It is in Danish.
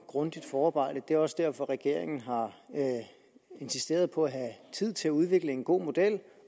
grundigt forarbejde og det er også derfor regeringen har insisteret på at have tid til at udvikle en god model og